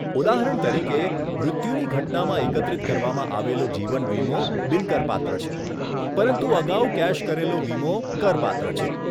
ઉદાહરણ તરીકે, મૃત્યુની ઘટનામાં એકત્રિત કરવામાં આવેલો જીવન વીમો બિન કરપાત્ર છે, પરંતુ અગાઉ કેશ કરેલો વીમો કરપાત્ર છે.